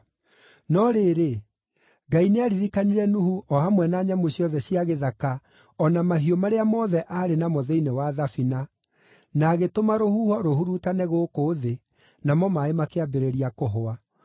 No rĩrĩ, Ngai nĩaririkanire Nuhu o hamwe na nyamũ ciothe cia gĩthaka o na mahiũ marĩa mothe aarĩ namo thĩinĩ wa thabina, na agĩtũma rũhuho rũhurutane gũkũ thĩ, namo maaĩ makĩambĩrĩria kũhũa.